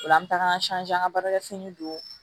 O la an bɛ taga an an ka baarakɛ fini don